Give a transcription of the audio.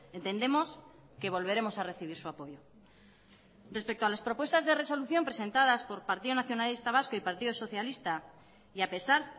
entendemos que volveremos a recibir su apoyo respecto a las propuestas de resolución presentadas por partido nacionalista vasco y partido socialista y a pesar